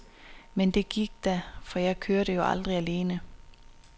Men det gik da, for jeg kørte jo aldrig alene.